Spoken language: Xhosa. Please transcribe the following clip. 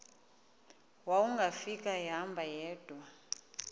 wawungafika ehamba yedwa